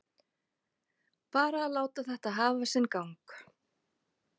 Bara láta þetta hafa sinn gang.